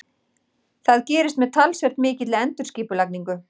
Það gerist með talsvert mikilli endurskipulagningu.